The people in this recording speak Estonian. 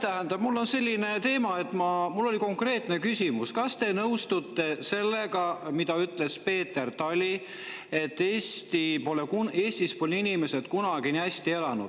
Tähendab, mul on selline teema, et mul oli konkreetne küsimus: kas te nõustute sellega, mida ütles Peeter Tali, et Eestis pole inimesed kunagi nii hästi elanud?